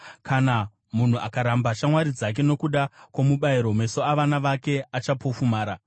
Kana munhu akaramba shamwari dzake nokuda kwomubayiro, meso avana vake achapofumara.